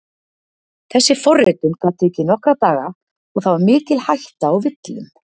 Þessi forritun gat tekið nokkra daga og það var mikil hætta á villum.